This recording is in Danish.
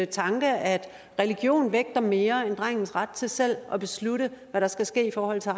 tanke at religion vægter mere end drengens ret til selv at beslutte hvad der skal ske i forhold til